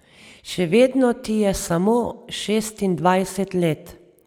Še vedno ti je samo šestindvajset let!